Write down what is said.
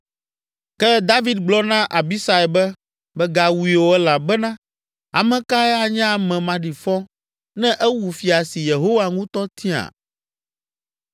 Ke David gblɔ na Abisai be, “Mègawui o elabena ame kae anye ame maɖifɔ ne ewu fia si Yehowa ŋutɔ tia?